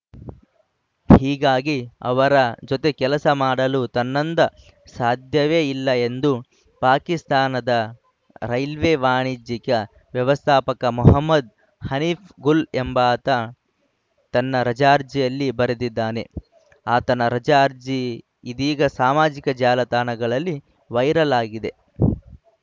ಹೀಗಾಗಿ ಅವರ ಜೊತೆ ಕೆಲಸ ಮಾಡಲು ತನ್ನಂದ ಸಾಧ್ಯವೇ ಇಲ್ಲ ಎಂದು ಪಾಕಿಸ್ತಾನದ ರೈಲ್ವೆ ವಾಣಿಜ್ಯಿಕ ವ್ಯವಸ್ಥಾಪಕ ಮೊಹಮ್ಮದ್‌ ಹನೀಫ್‌ ಗುಲ್‌ ಎಂಬಾತ ತನ್ನ ರಜಾ ಅರ್ಜಿಯಲ್ಲಿ ಬರೆದಿದ್ದಾನೆ ಆತನ ರಜಾ ಅರ್ಜಿ ಇದೀಗ ಸಾಮಾಜಿಕ ಜಾಲತಾಣಗಳಲ್ಲಿ ವೈರಲ್‌ ಆಗಿದೆ